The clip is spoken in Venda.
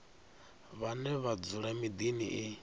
vhane vha dzula miḓini i